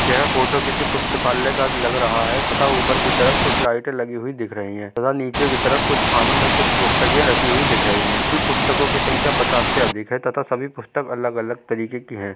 यह फोटो किसी पुस्तकालय का लग रहा है तथा ऊपर की तरफ कुछ लाईटे लगी हुई दिख रही है तथा नीचे की तरफ कुछ खानो में कुछ पुस्तके रखी हुई दिख रही हैं पुस्तको की संख्या पचास से अधिक है तथा सभी पुस्तक अलग अलग तरीके की है।